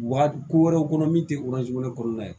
Wa ko wɛrɛw kɔnɔ min tɛ kɔnɔna ye